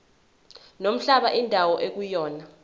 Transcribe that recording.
nomhlaba indawo ekuyona